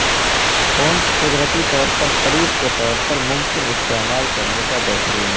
ٹونز قدرتی طور پر قریب کے طور پر ممکن استعمال کرنے کا بہترین ہے